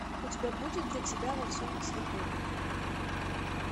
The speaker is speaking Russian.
у тебя будет для тебя во всем цвету